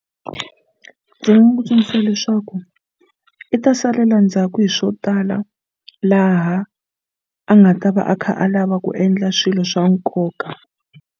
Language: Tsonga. Ndzi nga n'wi tsundzuxa leswaku i ta salela ndzhaku hi swo tala laha a nga ta va a kha a lava ku endla swilo swa nkoka.